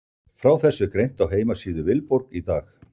Frá þessu er greint á heimasíðu Viborg í dag.